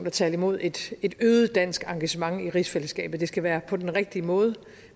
at tale imod et øget dansk engagement i rigsfællesskabet det skal være på den rigtige måde